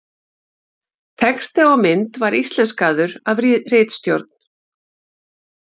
Texti á mynd var íslenskaður af ritstjórn.